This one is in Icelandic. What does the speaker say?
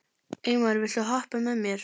Eymar, viltu hoppa með mér?